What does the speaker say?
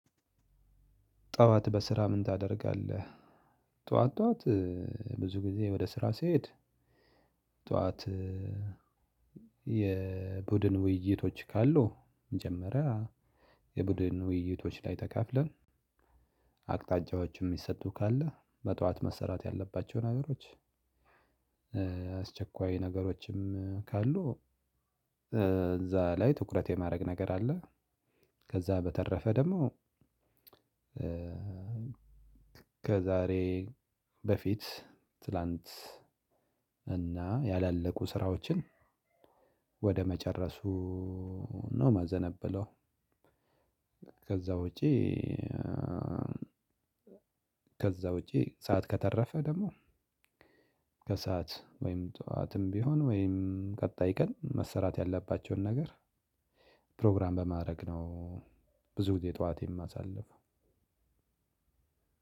ጠዋት በስራ ምን ታደርጋለህ? ጠዋት ጠዋት ብዙ ጊዜ ወደ ስራ ስሄድ። ጠዋት የቡድን ውይይቶች ካሉ መጀመሪያ የቡድን ውይይቶች ላይ ተካፍለን አቅጣጫዎችም የሚሰጡ ካለ በጧት መሰራት ያለባቸው ነገሮች። አስቸኳይ ነገሮችም ካሉ እዛ ላይ ትኩረት የማድረግ ነገር አለ። ከዛ በተረፈ ደግሞ ከዛሬ በፊት ትላንት እና ያላለቁ ስራዎችን ወደ መጨረሱ ነው ማዘነብለው። ከዛ ውጪ። ከዛ ውጪ ሰዓት ከተረፈ ደግሞ ከሰአት ወይም ጠዋትም ቢሆን ወይም ቀጣይ ቀን መሰራት ያለባቸውን ነገር ፕሮግራም በማድረግ ነው። ብዙ ጊዜ ጠዋት የማሳልፍ